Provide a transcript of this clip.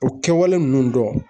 O kɛwale nunnu dɔn